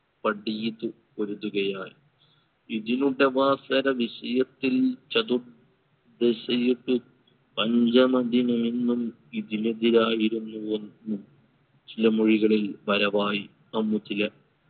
പടി ഇത് പൊതിരുകയായി. ഇതിനുടവാസര വിഷയത്തിൽ ചതു പഞ്ചമതിനെ എന്നും ഇതിന് എതിരായിരുന്നുവെന്ന് ചില മൊഴികളിൽ വരവായി അന്ന് ചില